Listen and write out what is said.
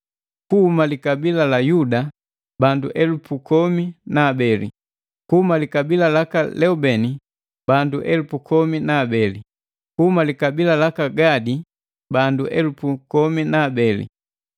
Kiuhuma likabila la Yuda, bandu elupu komi na abeli, kuhuma likabila laka Leubeni bandu elupu komi na abeli, kuhuma likabila laka Gadi, bandu elupu kumi na abeli,